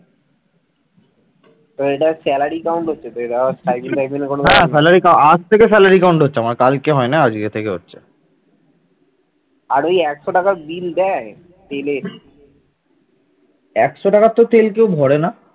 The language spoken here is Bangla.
একশো টাকার তোর তেল কেউ ভরে না